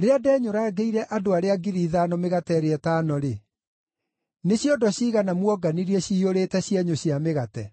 Rĩrĩa ndenyũrangĩire andũ arĩa ngiri ithano mĩgate ĩrĩa ĩtano-rĩ, nĩ ciondo ciigana muonganirie ciiyũrĩte cienyũ cia mĩgate?”